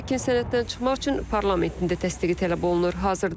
Lakin sənəddən çıxmaq üçün parlamentin dəstəyi tələb olunur.